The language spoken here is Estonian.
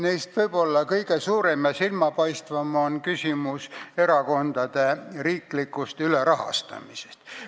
Neist võib-olla kõige suurem ja silmapaistvam on küsimus erakondade riiklikust ülerahastamisest.